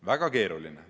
Väga keeruline!